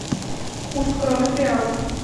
курс кроны к реалу